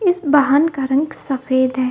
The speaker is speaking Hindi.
इस बाहन का रंग सफेद है।